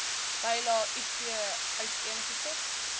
bylae iv uiteengesit